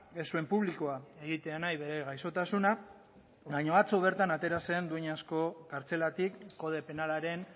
ez zuen publikoa egitea nahi bere gaixotasuna baina atzo bertan atera zen dueñasko kartzelatik kode penalaren